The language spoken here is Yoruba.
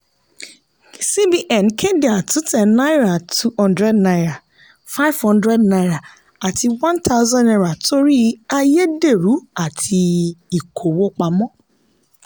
cbn kéde àtúntẹ̀ náírà [two hundred nara five hundred naira àti one thousand naira torí àyédèrú àti ìkówó pamọ́.